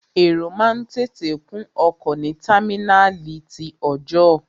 Èrò máa ń tètè kún ọkọ̀ ní támínàlí ti ọọ̀jọ́.